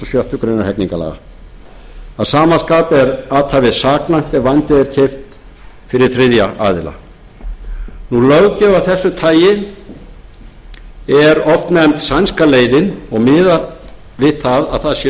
hundruð og sjöttu grein hegningarlaga að sama skapi er athæfið saknæmt ef vændið er keypt fyrir þriðja aðila löggjöf af þessu tagi er oft nefnd sænska leiðin og miðar við að það sé